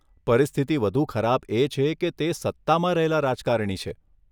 પરિસ્થિતિ વધુ ખરાબ એ છે કે તે સત્તામાં રહેલા રાજકારણી છે.